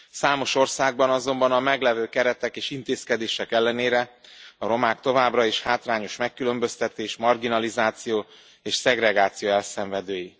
Számos országban azonban a meglevő keretek és intézkedések ellenére a romák továbbra is a hátrányos megkülönböztetés, marginalizáció és szegregáció elszenvedői.